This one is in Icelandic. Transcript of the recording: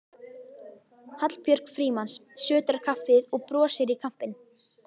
Hallbjörg Frímanns sötrar kaffið og brosir í kampinn.